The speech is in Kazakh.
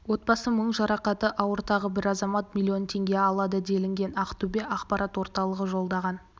отбасы мың жарақаты ауыр тағы бір азамат миллион теңге алады делінген ақтөбе ақпарат орталығы жолдаған